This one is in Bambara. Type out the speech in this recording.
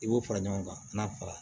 I b'o fara ɲɔgɔn kan n'a fara